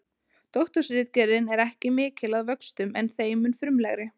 Doktorsritgerðin er ekki mikil að vöxtum en þeim mun frumlegri.